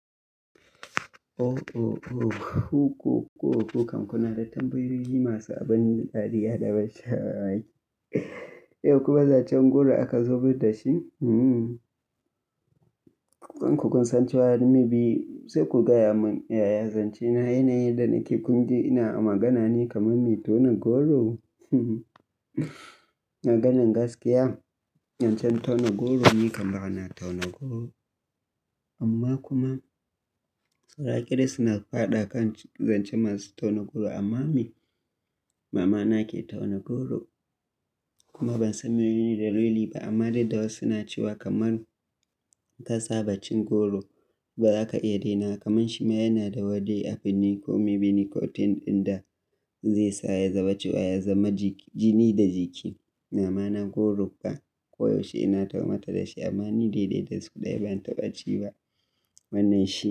Ooo, ku ku ku kam kuna da tambayoyi masu abin dariya da ban sha mamaki. Yau kuma zancen goro aka zo min da shi? Hmm. In kun san cewa ni maybe, sai ku gaya mun. Yaya zance na yanayin da nake kunji ina magana ne kamar me tauna goro? Maganan gaskiya, zancen tauna goro ne kam bana tauna goro. Amma kuma, saura ƙiris na fada kan zance masu tauna goro. Amma me? Mamana ke tauna goro kuma ban san menene dalili ba. Amma dai da wasu na cewa kamar ta saba cin goro, baza ka iya daina wa kamar shi ma yana da wani, abu ne ko menene, ko thing ɗin da zai sa ya zama cewa ya zama jiki, jini da jiki. Mamana goro ka koyaushe ina taho mata da shi amma ni dai dai da sau ɗaya ban taɓa ci ba wannan shi.